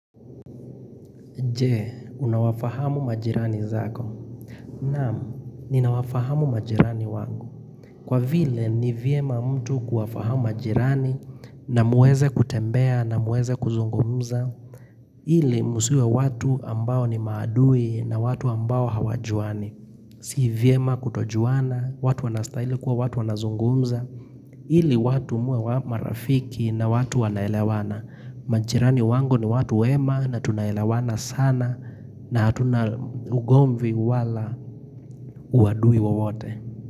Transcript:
Jee, unawafahamu majirani zako? Naam, ninawafahamu majirani wangu. Kwa vile, ni vyema mtu kuwafahamu majirani na muweze kutembea na muweze kuzungumza. Ile, musiwe watu ambao ni maadui na watu ambao hawajuani. Si vyema kutojuana, watu wanastaili kuwa watu wanazungumza. Ili, watu muwe wa marafiki na watu wanaelewana. Majirani wangu ni watu wema na tunaelawana sana na hatuna ugomvi wala uadui wowote.